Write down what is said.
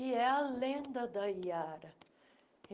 E é a lenda da Iara.